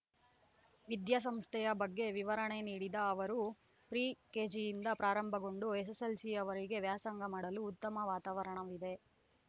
ವಿದ್ಯಾ ಸಂಸ್ಥೆಯ ಬಗ್ಗೆ ವಿವರಣೆ ನೀಡಿದ ಅವರು ಪ್ರಿ ಕೇಜಿಯಿಂದ ಪ್ರಾರಂಭಗೊಂಡು ಎಸ್ಸೆಸ್ಸೆಲ್ಸಿವರೆಗೆ ವ್ಯಾಸಂಗ ಮಾಡಲು ಉತ್ತಮ ವಾತಾವರಣವಿದೆ